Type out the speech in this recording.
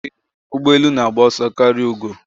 Ee, ụgbọ elu na-agba ọsọ karịa ugo.